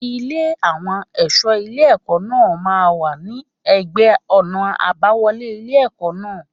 Ilé àwọn ẹ̀ṣọ́ ilé ẹ̀kọ́ náà máa ń wà ní ẹ̀gbẹ́ ọ̀nà àbáwọlé ilé ẹ̀kọ́ náà.